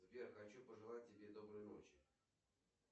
сбер хочу пожелать тебе доброй ночи